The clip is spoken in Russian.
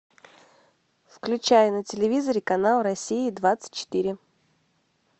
включай на телевизоре канал россия двадцать четыре